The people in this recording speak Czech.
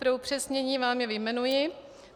Pro upřesnění vám je vyjmenuji.